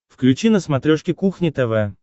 включи на смотрешке кухня тв